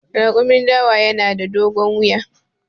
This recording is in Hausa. Raƙumin dawa yana da dogon wuya.